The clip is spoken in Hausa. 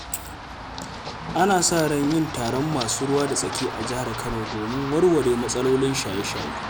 Ana sa ran yin taron masu ruwa da tsaki a Jihar Kano domin warware matsalolin shaye-shaye.